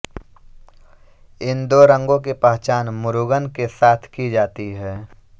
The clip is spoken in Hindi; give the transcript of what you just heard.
इन दो रंगों की पहचान मुरुगन के साथ की जाती है